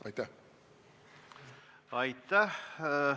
Aitäh!